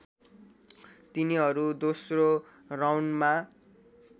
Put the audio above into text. तिनीहरू दोस्रो राउन्डमा